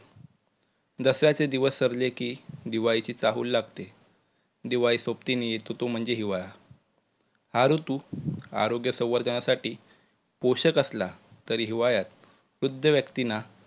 दसऱ्याचे दिवस सरले कि दिवाळीची चाहूल लागते, दिवाळी सोबतीने येतो तो म्हणजे हिवाळा. हा ऋतू आरोग्य संवर्धनासाठी पोषक असला तरी हिवाळ्यात वृद्ध व्यक्तींना